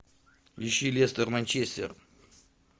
ищи лестер манчестер